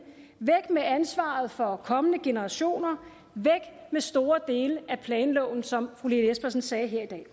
væk med ansvaret for kommende generationer væk med store dele af planloven som fru lene espersen sagde her i dag